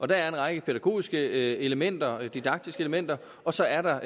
der er en række pædagogiske elementer didaktiske elementer og så er der